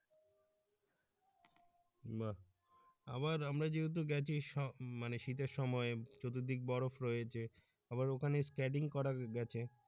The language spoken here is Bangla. বাহ আবার আমরা যেহেতু গেছি মানে শীতের সময় চতুর্দিক বরফ রয়েছে আবার ওখানে skating করা গেছে।